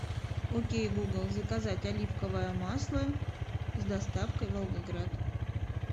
окей гугл заказать оливковое масло с доставкой в волгоград